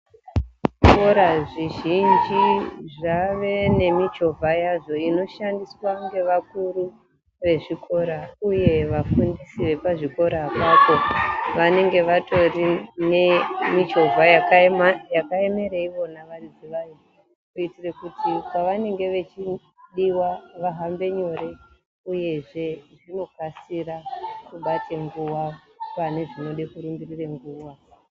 Zvikora zvizhinji zvave nemichovha yazvo inoshandiswa ngevakuru vezvikora uye vafundisi vepazvikora apapo vanenge vatorine michovha yakaemera ivona varidzi vayo kuitira kuti pavenenge vachidiwa vahambe nyore uyezve zvinokasira kubate nguwa pane zvinode kurumbirire nguwa.